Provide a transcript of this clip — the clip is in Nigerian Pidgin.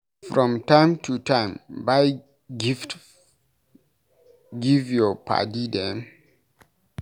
From time to time, buy gift give your paddy dem.